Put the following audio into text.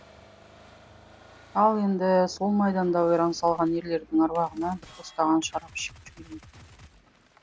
ал енді сол майданда ойран салған ерлердің аруағына бір тостаған шарап ішіп жіберейік